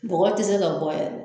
Bɔgɔ ti se ka bɔ yɛrɛ